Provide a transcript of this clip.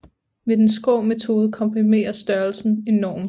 Med den skrå metode komprimeres størrelsen enormt